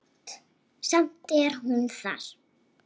Samt er hún þar.